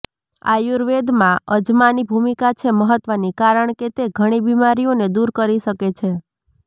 આયુર્વેદમાં અજમાની ભૂમિકા છે મહત્વની કારણ કે તે ઘણી બિમારીઓને દૂર કરી શકે છે